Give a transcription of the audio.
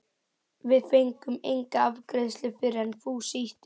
Við fengum enga afgreiðslu fyrr en Fúsi ýtti við